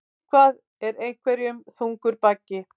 Eitthvað er einhverjum þungur baggi